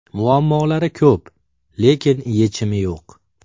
Muammolari ko‘p, lekin yechimi yo‘q.